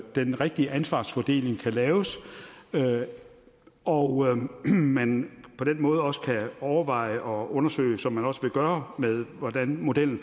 den rigtige ansvarsfordeling kan laves og man man på den måde også kan overveje og undersøge som man også vil gøre hvordan modellen